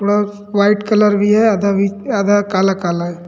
थोड़ा white colour भी है आधा बी आधा काला-काला है।